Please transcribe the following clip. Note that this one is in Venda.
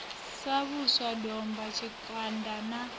sa vhusha domba tshikanda na